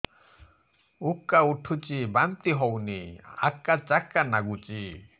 ଉକା ଉଠୁଚି ବାନ୍ତି ହଉନି ଆକାଚାକା ନାଗୁଚି